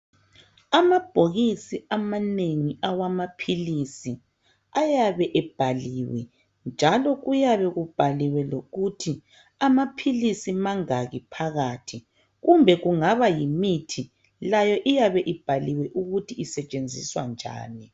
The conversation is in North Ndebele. Ama bhokisi amanengi awamaphilisi ayabe ebhaliwe njalo kuyabe kubhaliwe lokuthi amaphilisi mangaki phakathi kumbe kungaba yimithi layo iyabe ibhaliwe ukuthi isentshenziswa njani